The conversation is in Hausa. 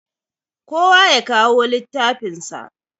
Kowa yakawo littafin sa.